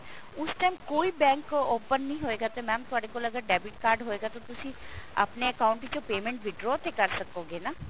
ਉਸ time ਕੋਈ bank open ਨੀ ਹੋਏਗਾ ਤੇ mam ਅਗਰ ਤੁਹਾਡੇ ਕੋਲ debit card ਹੋਇਗਾ ਤਾਂ ਤੁਸੀਂ ਆਪਣੇ account ਵਿੱਚੋਂ payment withdraw ਤੇ ਕਰ ਸਕੋਗੇ ਨਾ